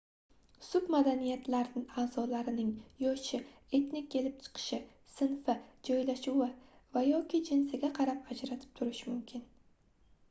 submadaniyatlar a'zolarning yoshi etnik kelib chiqishi sinfi joylashuvi va/yoki jinsiga qarab ajralib turishi mumkin